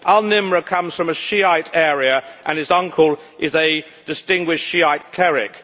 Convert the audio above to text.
Al Nimr comes from a Shiite area and his uncle is a distinguished Shiite cleric.